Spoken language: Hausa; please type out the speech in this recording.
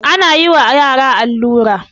ana yi wa yara allura